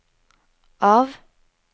av